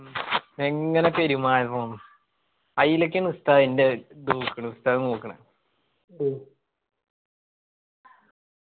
മ്മ് എങ്ങനെ പെരുമാറണോന്ന് അയിലൊക്കെയാണ് ഉസ്താദ്